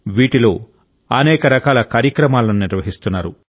వీటిలో అనేక రకాల కార్యక్రమాలను నిర్వహిస్తున్నారు